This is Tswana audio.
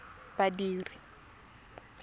badiri